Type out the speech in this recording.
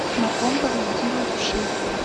на ком паразитируют вши